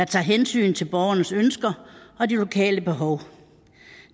tager hensyn til borgernes ønsker og de lokale behov